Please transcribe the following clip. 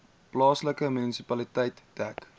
plaaslike munisipaliteit dek